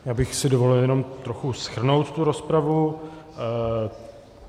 Já bych si dovolil jenom trochu shrnout tu rozpravu.